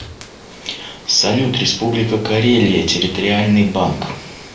салют республика карелия территориальный банк